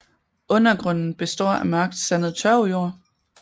Undergrunden består af mørkt sandet tørvejord